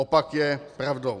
Opak je pravdou.